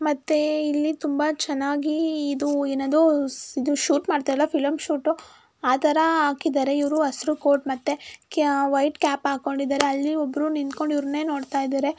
ಮತ್ತೆ ಇಲ್ಲಿ ತುಂಬಾ ಚೆನ್ನಾಗಿ ಇದು ಏನದು ಶೂಟ್ ಮಾಡ್ತಾ ಅಲ ಫಿಲಂ ಶೂಟ್ ಆತರ ಹಾಕಿದ್ದಾರೆ ಇವ್ರು ಹಸಿರ ಕೋಟ್ ಮತ್ತೆ ಕೆಮ್ ವೈಟ್ ಕ್ಯಾಪ್ ಹಾಕೊಂಡಿದ್ದಾರೆ ಅಲ್ಲಿ ಒಬ್ರು ನಿಂತ್ತಿಕೊಂಡು ಇವರನ್ನೇ ನೋಡುತ್ತಿದ್ದರೆ.